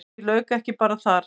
En því lauk ekki bara þar.